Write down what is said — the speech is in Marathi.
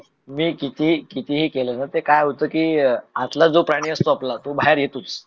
मी कितीही कितीही केल ना ते काय होत ना आतलं जो पाणी असतो ते बाहेर येतोच.